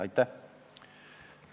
Aitäh!